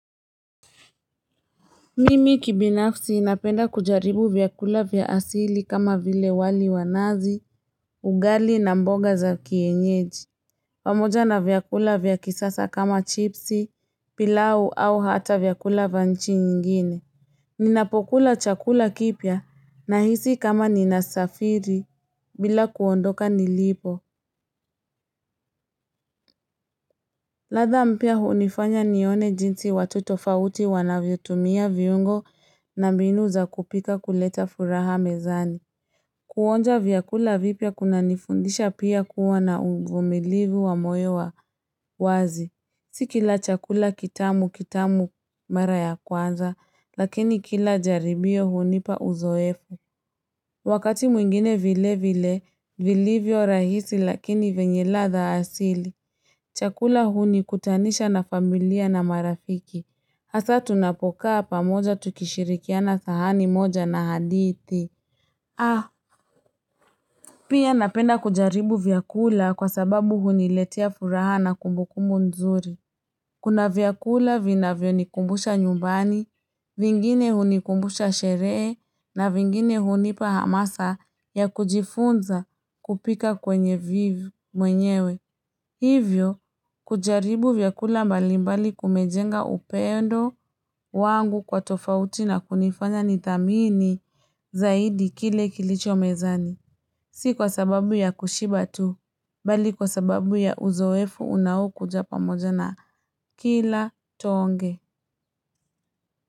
Mimi kibinafsi napenda kujaribu vyakula vya asili kama vile wali wanazi, ugali na mboga za kienyeji. Pamoja na vyakula vya kisasa kama chipsi, pilau au hata vyakula vanchi nyingine. Ninapokula chakula kipya na hisi kama ninasafiri bila kuondoka nilipo. Ladha mpya hunifanya nione jinsi watu tofauti wanavyo tumia viungo na mbinu za kupika kuleta furaha mezani. Kuonja vyakula vipya kuna nifundisha pia kuwa na uvumilivu wa moyo wa wazi. Sikila chakula kitamu kitamu mara ya kwanza, lakini kila jaribio hunipa uzoefu. Wakati mwingine vile vile, vilivyo rahisi lakini venye ladha asili. Chakula huni kutanisha na familia na marafiki. Hasa tunapokaa pamoja tukishirikiana sahani moja na hadithi. Ah, pia napenda kujaribu vyakula kwa sababu huni letea furaha na kumbukumbu nzuri. Kuna vyakula vinavyonikumbusha nyumbani, vingine hunikumbusha sheree, na vingine hunipa hamasa ya kujifunza kupika kwenye vivu mwenyewe. Hivyo, kujaribu vyakula mbali mbali kumejenga upendo wangu kwa tofauti na kunifanya nithamini zaidi kile kilicho mezani. Si kwa sababu ya kushiba tu, bali kwa sababu ya uzoefu unaokuja pamoja na kila toonge.